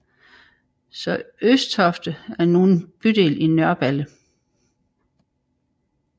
Så Østofte er nu en bydel i Nørreballe